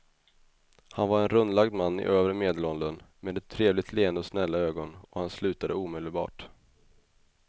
Han var en rundlagd man i övre medelåldern med ett trevligt leende och snälla ögon och han slutade omedelbart.